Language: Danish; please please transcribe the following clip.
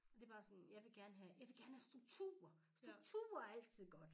Det bare sådan jeg vil gerne have jeg vil gerne have struktur struktur er altid godt